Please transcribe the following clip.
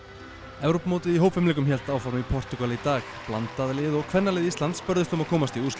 Evrópumótið í hópfimleikum hélt áfram í Portúgal í dag blandað lið og kvennalið Íslands börðust um að komast í úrslit